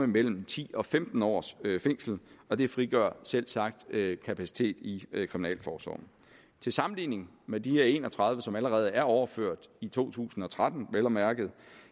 mellem ti og femten års fængsel og det frigør selvsagt kapacitet i kriminalforsorgen til sammenligning med de her en og tredive som allerede er overført i to tusind og tretten vel at mærke